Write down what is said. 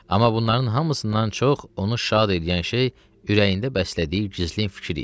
Amma bunların hamısından çox onu şad eləyən şey ürəyində bəslədiyi gizlin fikir idi.